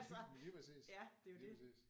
Men lige præcis. Lige præcis